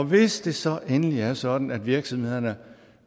hvis det så endelig er sådan at virksomhederne